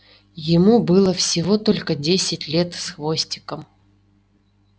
ему было всего только десять лет с хвостиком